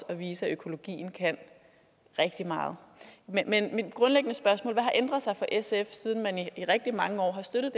at vise at økologien kan rigtig meget men mit grundlæggende spørgsmål er hvad har ændret sig for sf siden man i rigtig mange år støttede